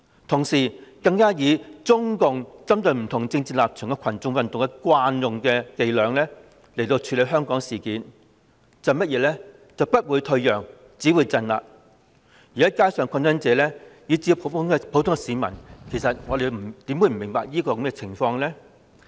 同時，她更以中共針對不同政治立場的群眾運動的慣用伎倆處理香港事件，就是"不會退讓，只會鎮壓"，而街上的抗爭者以至普通市民其實又怎會不明白這一點呢？